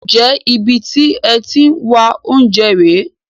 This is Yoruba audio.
Ǹjẹ́ ibi tí ẹ ti ń wá oúnjẹ rè é?